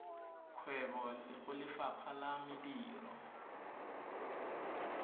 kgwebo go lefapha la mediro